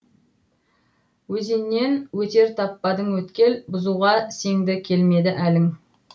өзеннен өтер таппадың өткел бұзуға сеңді келмеді әлің